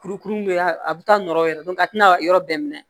Kurukuru bɛ a bɛ taa nɔrɔ yɛrɛ a tɛna yɔrɔ bɛɛ minɛ